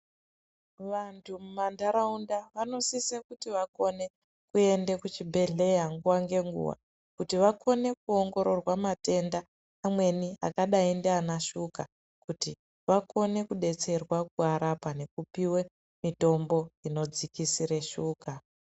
Vantu mumantaraunda vanosise kuti vakone kuende kuchibhedhleya nguva ngenguva, kuti vakone kuongororwa matenda amweni akadai ndiana shuga kuti vakone kudetserwa kuarapa nekupiwe mitombo inodzikisire shuga.